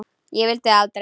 Ég vildi það aldrei.